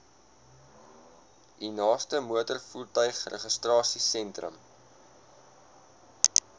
u naaste motorvoertuigregistrasiesentrum